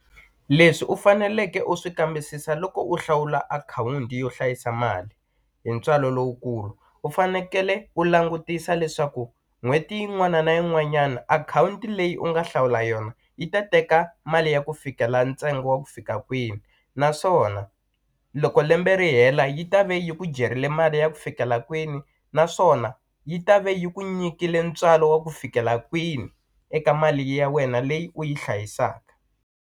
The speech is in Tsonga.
Leswi u faneleke u swi kambisisa loko u hlawula akhawunti yo hlayisa mali hi ntswalo lowukulu u fanekele u langutisa leswaku n'hweti yin'wana na yin'wanyana akhawunti leyi u nga hlawula yona yi ta teka mali ya ku fikela ntsengo wa ku fika kwini naswona loko lembe ri hela yi ta va yi ku jerile mali ya ku fikela kwini naswona yi ta ve yi ku nyikile ntswalo wa ku fikela kwini eka mali ya wena leyi u yi hlayisaka.